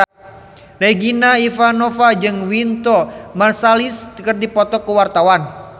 Regina Ivanova jeung Wynton Marsalis keur dipoto ku wartawan